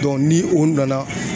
ni o nana